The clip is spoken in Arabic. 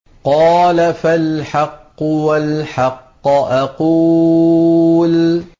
قَالَ فَالْحَقُّ وَالْحَقَّ أَقُولُ